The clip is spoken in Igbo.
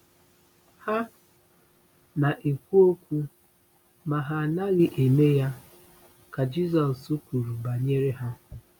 “Ha na-ekwu okwu ma ha anaghị eme ya,” ka Jizọs kwuru banyere ha.